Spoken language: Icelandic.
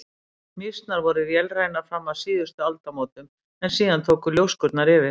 Mýsnar voru vélrænar fram að síðustu aldamótum en síðan tóku ljóskurnar yfir.